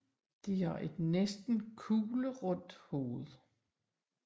De har et næsten kuglerundt hoved